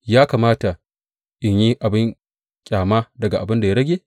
Ya kamata in yi abin ƙyama daga abin da ya rage?